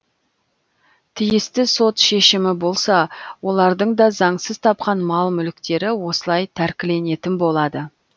тиісті сот шешімі болса олардың да заңсыз тапқан мал мүліктері осылай тәркіленетін болады